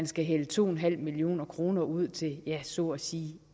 skal hældes to en halv million kroner ud til ja så at sige